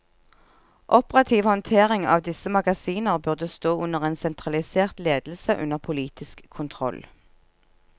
Operativ håndtering av disse magasiner burde stå under en sentralisert ledelse under politisk kontroll.